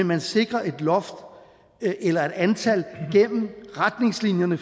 man sikrer et loft eller et antal gennem retningslinjerne